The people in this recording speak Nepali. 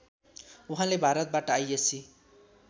उहाँले भारतबाट आइएस्सी